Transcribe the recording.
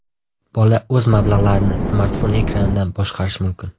Bola o‘z mablag‘larini smartfon ekranidan boshqarishi mumkin.